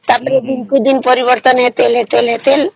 ତାପରେ ଦିନକୁ ଦିନ ପରିବର୍ତନ ହେଲେ ହେଲେ ହେଲେ